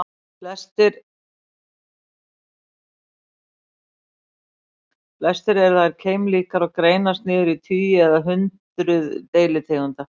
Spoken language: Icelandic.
Flestar eru þær keimlíkar og greinast niður í tugi eða hundruð deilitegunda.